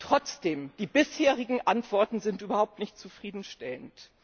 Trotzdem Die bisherigen Antworten sind überhaupt nicht zufriedenstellend.